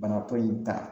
Bana ko in ta